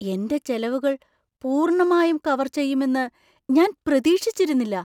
എന്‍റെ ചെലവുകൾ പൂർണ്ണമായും കവർ ചെയ്യുമെന്ന് ഞാൻ പ്രതീക്ഷിച്ചിരുന്നില്ല.